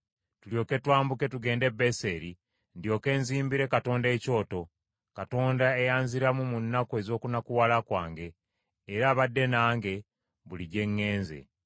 tulyoke twambuke tugende e Beseri ndyoke nzimbire Katonda ekyoto, Katonda eyanziramu mu nnaku ez’okunakuwala kwange, era abadde nange buli gye ŋŋenze.